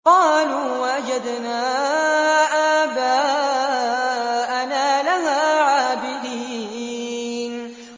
قَالُوا وَجَدْنَا آبَاءَنَا لَهَا عَابِدِينَ